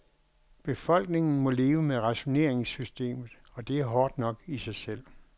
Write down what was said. Befolkningen må leve med rationeringssystemet og det er hårdt nok i sig selv.